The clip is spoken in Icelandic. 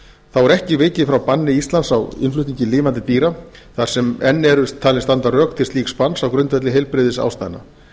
er ekki er vikið frá banni íslands á innflutningi lifandi dýra þar sem enn eru talin standa rök til slíks banns á grundvelli heilbrigðisástæðna